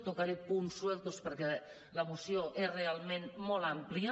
tocaré punts solts perquè la moció és realment molt àmplia